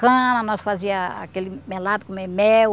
Cana, nós fazia aquele melado, comer mel,